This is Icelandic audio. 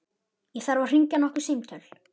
Ég þarf að hringja nokkur símtöl.